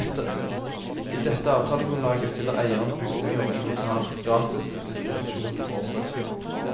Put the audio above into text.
I dette avtalegrunnlaget stiller eieren bygninger og inventar gratis til disposisjon for oppdragsgiveren.